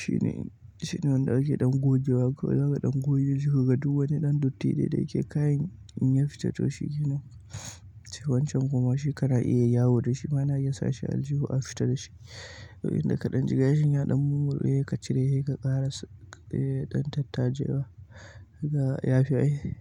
shine, shine wanda ake ɗan goge wa ko zaka ɗan goge jiki ka ga duk wani ɗan datti dai da yake kayin in ya fita to shi ke nan. Sai wancan kuma shi kana iya yawo da shi ma ana iya sa shi aljihu a fita da shi. Inda ka ɗan jiga shi nyaɗan mumul, eh ka cire shi ka ƙara s-- eh ɗan tatta jefa, haka ya fi ai.